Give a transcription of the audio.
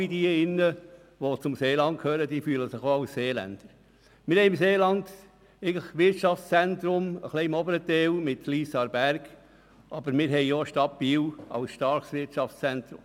Wir haben im Seeland mehrere Wirtschaftszentren wie Lyss und Aarberg im oberen Teil und die Stadt Biel als starkes Wirtschaftszentrum.